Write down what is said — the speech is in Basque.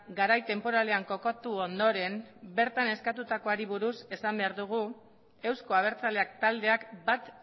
garai tenporalean kokatu ondoren bertan eskatutakoari buruz esan behar dugu euzko abertzaleak taldeak bat